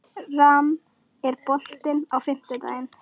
Ram, er bolti á fimmtudaginn?